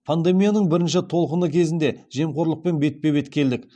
пандемияның бірінші толқыны кезінде жемқорлықпен бетпе бет келдік